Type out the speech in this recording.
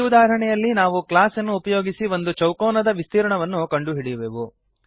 ಈ ಉದಾಹರಣೆಯಲ್ಲಿ ನಾವು ಕ್ಲಾಸ್ಅನ್ನು ಉಪಯೋಗಿಸಿ ಒಂದು ಚೌಕೋನದ ವಿಸ್ತೀರ್ಣವನ್ನು ಕಂಡುಹಿಡಿಯುವೆವು